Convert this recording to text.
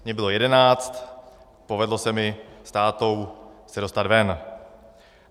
Mně bylo jedenáct, povedlo se mi se s tátou dostat ven.